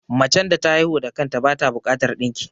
Macen da ta haihu da kanta bata bukatar ɗinki